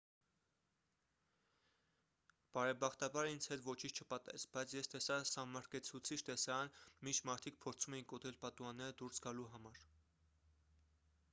բարեբախտաբար ինձ հետ ոչինչ չպատահեց բայց ես տեսա սահմռկեցուցիչ տեսարան մինչ մարդիկ փորձում էին կոտրել պատուհանները դուրս գալու համար